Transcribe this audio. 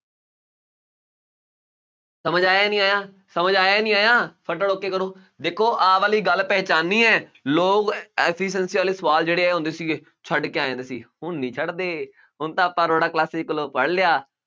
ਸਮਝ ਆਇਆ ਨਹੀਂ ਆਇਆ, ਸਮਝ ਆਇਆ ਨਹੀਂ ਆਇਆ, ਫਟਾਫਟ okay ਕਰੋ, ਦੇਖੋ ਆਹ ਵਾਲੀ ਗੱਲ ਪਹਿਚਾਨੀ ਹੈ, ਲੋਕ efficiency ਵਾਲੇ ਸਵਾਲ ਜਿਹੜੇ ਇਹ ਆਉਂਦੇ ਸੀਗੇ ਛੱਡ ਕੇ ਆ ਜਾਂਦੇ ਸੀ, ਹੁਣ ਨਹੀਂ ਛੱਡਦੇ, ਹੁਣ ਤਾਂ ਆਪਾਂ ਅਰੋੜਾ classes ਕੋਲੋਂ ਪੜ੍ਹ ਲਿਆ।